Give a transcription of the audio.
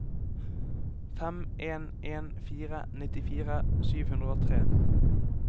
fem en en fire nittifire sju hundre og tre